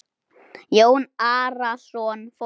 Jón Arason fórnaði höndum.